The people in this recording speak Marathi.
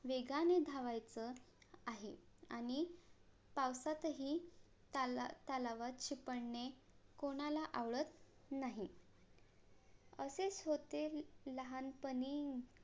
वेगाने धावायचं आहे आणि पावसातही तालावा~ तलावात शी पळणे कोणाला आवडत नाही असेच होते लहानपणी